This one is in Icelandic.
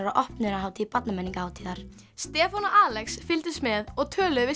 á opnunarhátíð Stefán og Alex fylgdust með og töluðu við